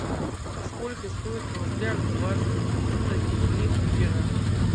сколько стоит в рублях двадцать две лира